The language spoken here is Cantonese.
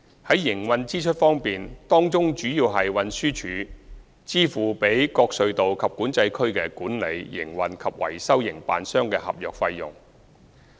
在營運支出方面，當中主要是運輸署支付予各隧道及管制區的管理、營運及維修營辦商的合約費用。